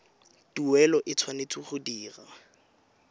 tuelo e tshwanetse go dirwa